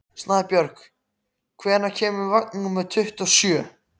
Snæbjörg, hvenær kemur vagn númer tuttugu og sjö?